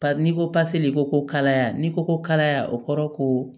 N'i ko paseli ko kalaya n'i ko ko kalaya o kɔrɔ ko